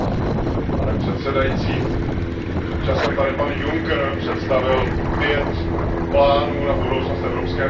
Pane předsedající, před časem tady pan Juncker představil pět plánů na budoucnost EU.